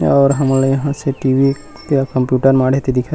और हमन ले यहाँ से टी_भी या कंप्यूटर माड़हे ते दिखत हे।